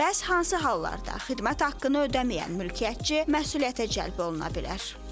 Bəs hansı hallarda xidmət haqqını ödəməyən mülkiyyətçi məsuliyyətə cəlb oluna bilər?